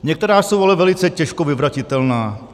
Některá jsou ale velice těžko vyvratitelná.